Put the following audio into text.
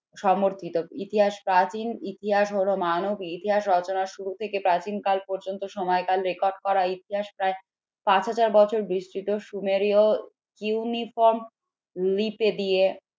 সমর্পিত। ইতিহাস প্রাচীন ইতিহাস হল মানব ইতিহাস রচনার শুরু থেকে প্রাচীনকাল পর্যন্ত সময়কাল record করা ইতিহাস প্রায় পাঁচ হাজার বছর বিস্তৃত সুমেরীয়